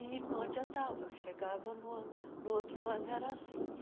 E não adiantava, chegava no ou no outro ano era assim.